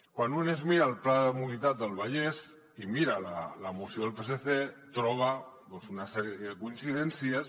quan un es mira el pla de mobilitat del vallès i mira la moció del psc troba una sèrie de coincidències